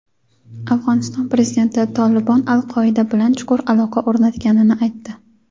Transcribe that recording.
Afg‘oniston prezidenti "Tolibon" "Al-Qoida" bilan chuqur aloqa o‘rnatganini aytdi.